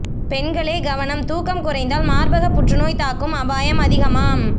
பெண்களே கவனம் தூக்கம் குறைந்தால் மார்பக புற்றுநோய் தாக்கும் அபாயம் அதிகமாம்